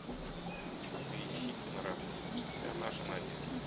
поищи киноработу вся наша надежда